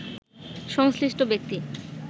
সংশ্লিষ্ট ব্যক্তি